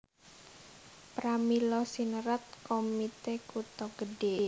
Pramila sinerat Komite Kutha Gedhe